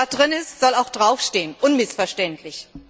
Was drin ist, soll auch draufstehen, unmissverständlich!